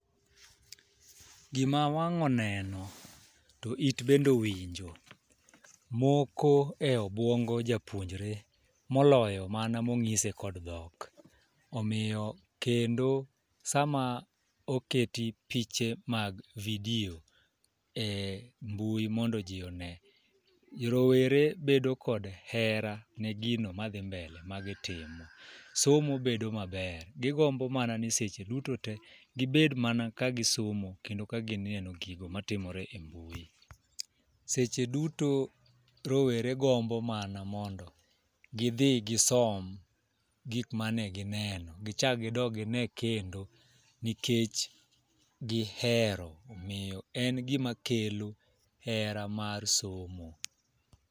Gima wang' oneno to it bendo winjo moko e obwongo japuonjre moloyo mana monyise kod dhok. Omiyo kendo sama oketi piche mag vidio e mbui mondo jii one, rowere bedo kod hera ne gino madhi mbele magitimo. Somo bedo maber gigombo mana ni seche duto te gibed mana ka gisomo kendo gineno gigo matimore e mbui .Seche duto rowere gombo mana mondo gidhi gisom gik mane gineno gichak gidog gine kendo nikech gihero miyo en gima kelo hera mar somo.